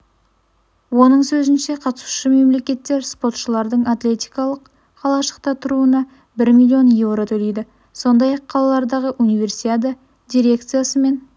оның сөзінше қатысушы мемлекеттер спортшылардың атлетикалық қалашықта тұруына бір миллион еуро төлейді сондай-ақ қаладағы универсиада дирекциясымен